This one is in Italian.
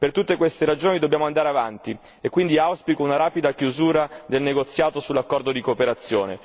Per tutte queste ragioni dobbiamo andare avanti, e quindi auspico una rapida chiusura del negoziato sull'accordo di cooperazione.